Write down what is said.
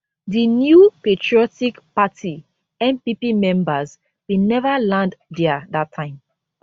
di new patriotic party npp members bin never land dia dat time